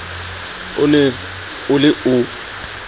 o ne o le o